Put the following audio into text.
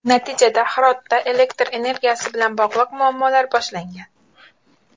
Natijada Hirotda elektr energiyasi bilan bog‘liq muammolar boshlangan.